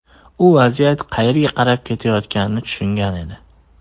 U vaziyat qayerga qarab ketayotganini tushungan edi.